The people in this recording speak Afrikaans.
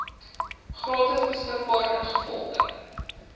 gratis beskikbaar ingevolge